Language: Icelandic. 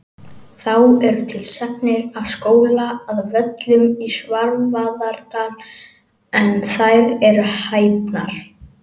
Þá eru til sagnir af skóla að Völlum í Svarfaðardal en þær eru hæpnar.